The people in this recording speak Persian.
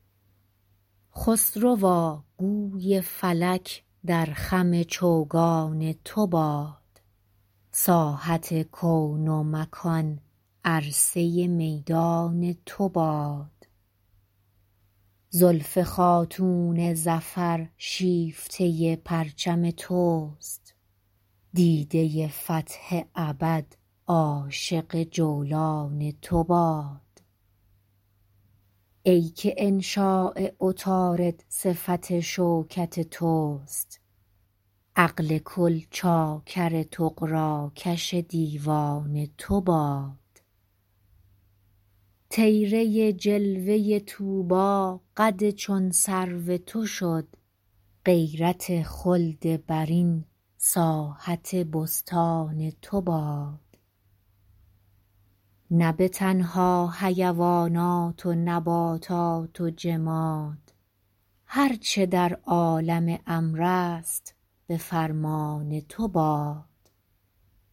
خسروا گوی فلک در خم چوگان تو شد ساحت کون ومکان عرصه میدان تو باد زلف خاتون ظفر شیفته پرچم توست دیده فتح ابد عاشق جولان تو باد ای که انشاء عطارد صفت شوکت توست عقل کل چاکر طغراکش دیوان تو باد طیره جلوه طوبی قد چون سرو تو شد غیرت خلد برین ساحت ایوان تو باد نه به تنها حیوانات و نباتات و جماد هر چه در عالم امر است به فرمان تو باد